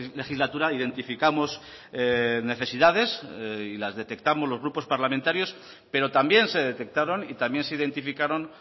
legislatura identificamos necesidades y las detectamos los grupos parlamentarios pero también se detectaron y también se identificaron